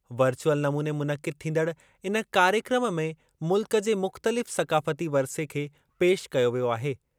Virtual नमूने मुनक़िद थींदड़ इन कार्यक्रम में मुल्क जे मुख़्तलिफ़ सक़ाफ़ती वरिसे खे पेशि कयो वियो आहे।